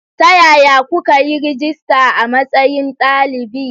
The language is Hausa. Ta yaya kuka yi rajista a matsayin dalibi?